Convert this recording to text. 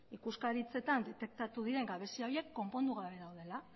ikuskaritzetan detektatu diren gabezia horiek konpondu gabe daudela